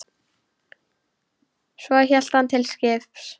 Svo hélt hann til skips.